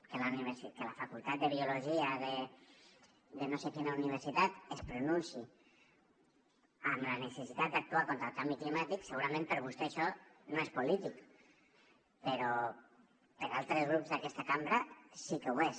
que la facultat de biologia de no sé quina universitat es pronunciï sobre la necessitat d’actuar contra el canvi climàtic segurament per a vostè això no és polític però per a altres grups d’aquesta cambra sí que ho és